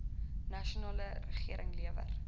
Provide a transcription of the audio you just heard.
nasionale regering lewer